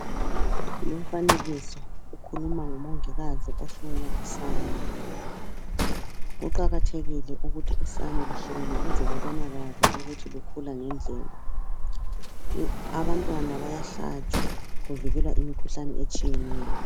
Lumfanekiso ukhuluma ngomongikazi ohlola usane. Kuqakathekile ukuthi usane luhlolwe ukuze kubonakale ukuthi lukhula ngendlela. Abantwana bayahlatshwa kuvikelwa imikhuhlane etshiyeneyo.